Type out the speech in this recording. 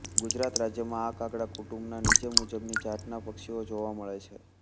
ગુજરાત રાજ્યમાં આ કાગડા કુટુંબના નીચે મૂજબની જાતના પક્ષીઓ જોવા મળે છે